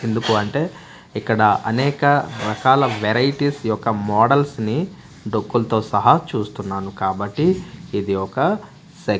ఎందుకు అంటే ఇక్కడ అనేక రకాల వెరైటీస్ యొక్క మోడల్స్ ని డొక్కులతో సహా చూస్తున్నాను కాబట్టి ఇది ఒక--